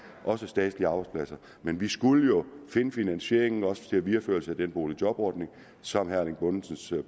også statslige arbejdspladser men vi skulle jo finde finansieringen også til en videreførelse af den boligjobordning som herre erling bonnesens